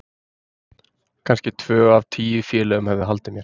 Kannski tvö af tíu félögum hefðu haldið mér.